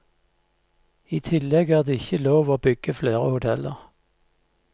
I tillegg er det ikke lov å bygge flere hoteller.